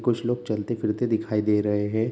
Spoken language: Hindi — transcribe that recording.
कुछ लोग चलते-फिरते दिखाई दे रहें हैं।